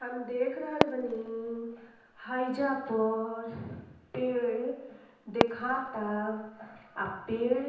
हम देख रहल बानी हईजा पर पेड़ दिखता अ पेड़ --